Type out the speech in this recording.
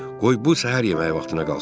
Qoy bu səhər yeməyi vaxtına qalsın.